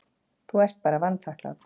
Þú ert bara vanþakklát.